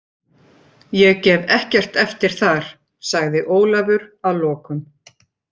Ég gef ekkert eftir þar, sagði Ólafur að lokum.